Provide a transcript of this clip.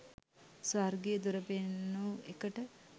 ස්වර්ගයේ දොර පෙන්නු එකට